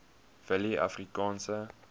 willieafrikaanse